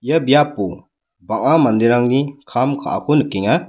ia biapo bang·a manderangni kam ka·ako nikenga.